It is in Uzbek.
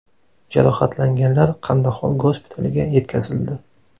Jarohatlanganlar Qandahor gospitaliga yetkazildi.